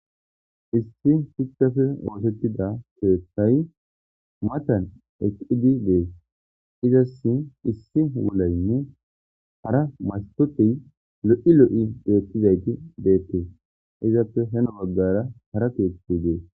issi hikafe oosettida keettay matan eqidi dees izas issi wulaynne hara mastotey lo7i lo7i deettizayti deettee izappe heno baggara hara keetti dees